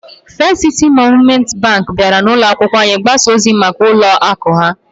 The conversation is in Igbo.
First City Monument Bank bịara n'ụlọ akwụkwọ anyị ịgbasa ozi maka ụlọ akụ ha